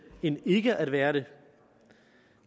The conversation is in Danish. end ikke at være det